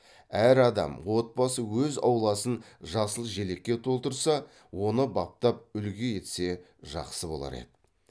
әр адам отбасы өз ауласын жасыл желекке толтырса оны баптап үлгі етсе жақсы болар еді